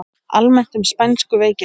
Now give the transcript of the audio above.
Almennt um spænsku veikina